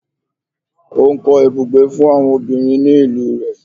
Ó ń kọ́ ibùgbé fún àwọn obìnrin ní ìlú rẹ̀